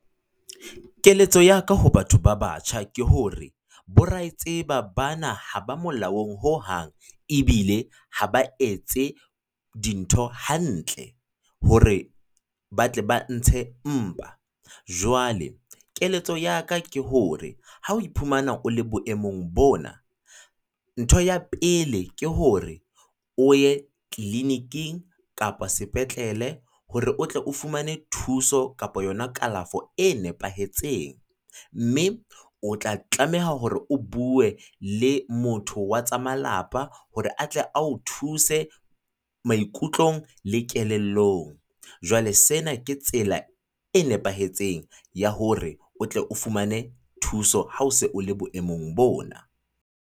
Keletso ya ka ho batho ba batjha ke hore, bo ra e tseba bana ha ba molaong hohang. Ebile ha ba etse dintho hantle hore ba tle ba ntshe mpa, jwale keletso ya ka ke hore ha o iphumana o le boemong bona, ntho ya pele ke hore o ye clinic-ing kapa sepetlele, hore o tle o fumane thuso kapo yona kalafo e nepahetseng. Mme o tla tlameha hore o bue le motho wa tsa malapa hore a tle a o thuse maikutlong le kelellong. Jwale sena ke tsela e nepahetseng ya hore o tle o fumane thuso ha o se o le boemong bona.